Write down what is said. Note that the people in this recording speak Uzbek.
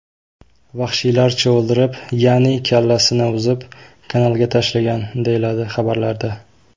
vahshiylarcha o‘ldirib, ya’ni kallasini uzib, kanalga tashlagan”, deyiladi xabarlarda.